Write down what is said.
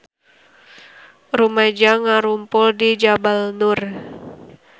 Rumaja ngarumpul di Jabal Nur